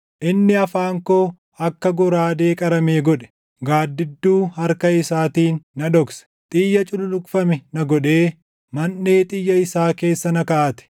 Inni afaan koo akka goraadee qaramee godhe; gaaddidduu harka isaatiin na dhokse; xiyya cululuqfame na godhee, manʼee xiyya isaa keessa na kaaʼate.